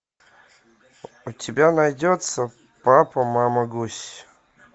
у тебя найдется папа мама гусь